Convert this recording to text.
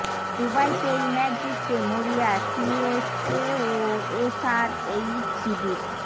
দুবাইতে এই ম্যাচ জিততে মরিয়া সিএসকে ও এসআরএইচ শিবির